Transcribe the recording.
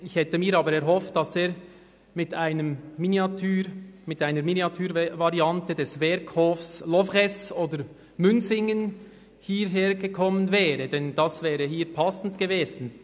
Ich hätte mir aber erhofft, dass er mit einer Miniaturvariante des Werkhofs Loveresse oder Münsingen hierhergekommen wäre, denn dies wäre passend gewesen.